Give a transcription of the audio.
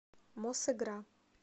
мосигра